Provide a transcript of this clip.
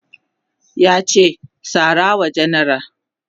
yace "ka sarawa jenera!